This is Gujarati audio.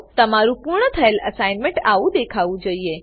તમારું પૂર્ણ થયેલ એસાઇનમેંટ આવું દેખાવું જોઈએ